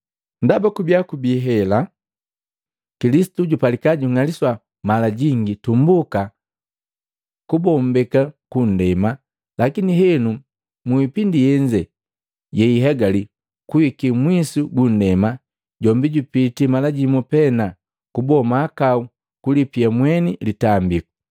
ndaba kabiya kubii hela, Kilisitu jupalika kung'aliswa mala jingi tumbuka kubombeka ku nndema. Lakini henu mu ipindi yenze yeihegale kuhiki mwisu gundema, jombi jupiti mala jimu pena kuboa mahakau ku kulipia mweni litambiku.